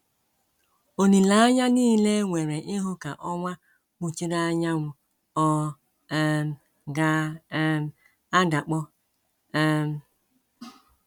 Olileanya nile e nwere ịhụ ka ọnwa kpuchiri anyanwụ ọ̀ um ga um - adakpọ? um